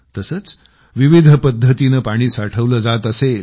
तसेच विविध पद्धतीनं पाणी साठवलं जात असेल